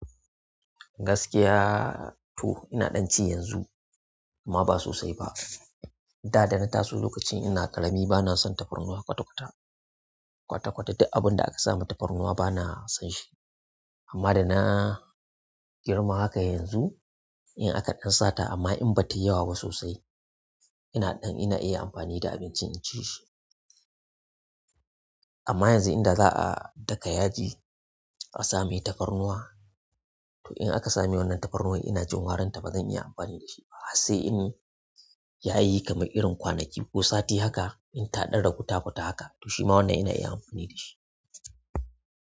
Gaskiya to ina ɗan ci yanzu amma ba sosai ba. Da dana taso lokacin ina ƙarami bana son tafarnuwa kwata-kwata, kwata-kwata duk abin da aka sams tafarnuwa bana son shi. Amma dana girma haka yanzu, in aka ɗan sata amma in batayi yawa ba sosai ina ɗan ina iya amfani da abincin in ci shi. Amma yanzu inda za a daka yaji a same tafarnuwa to in aka sami wannan tafarnuwan ina jin waranta bazan iya amfani da shi ba. Sai in ya yi kamar irin kwanaki ko sati haka in taɗan ragu ta futa haka to shi ma wannan ina iya amfani da shi.